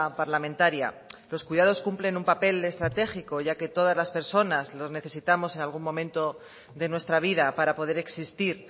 parlamentaria los cuidados cumplen un papel estratégico ya que todas las persona los necesitamos en algún momento de nuestra vida para poder existir